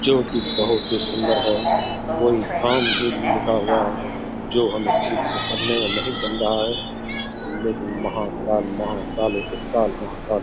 जो कि बहुत ही सुंदर है कोई भी लिखा हुआ है जो हमें ठीक से पढ़ने में नहीं बन रहा है लेकिन महाकाल महाकालों के काल महाकाल ।